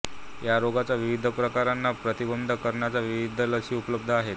या रोगाच्या विविध प्रकारांना प्रतिबंध करणाऱ्या विविध लसी उपलब्ध आहेत